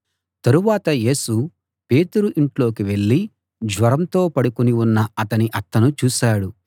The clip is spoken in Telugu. తరవాత యేసు పేతురు ఇంట్లోకి వెళ్ళి జ్వరంతో పడుకుని ఉన్న అతని అత్తను చూశాడు